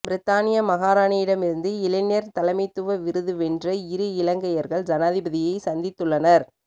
பிரித்தானிய மகாராணியிடமிருந்து இளைஞர் தலைமைத்துவ விருதுவென்ற இரு இலங்கையர்கள் ஜனாதிபதியை சந்தித்துள்ளனர்